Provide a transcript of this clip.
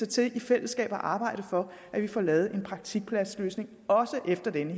til i fællesskab at arbejde for at vi får lavet en praktikpladsløsning også efter dette